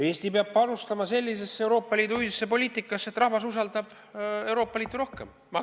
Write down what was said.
Eesti peab panustama sellisesse Euroopa Liidu ühisesse poliitikasse, mille korral rahvas usaldab Euroopa Liitu rohkem.